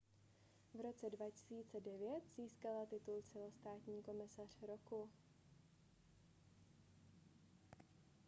v roce 2009 získala titul celostátní komisař roku